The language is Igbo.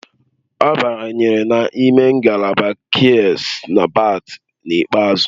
Ọ banyere n'ime ngalaba kuays na berth n'ikpeazụ